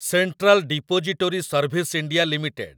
central Depository Services India limited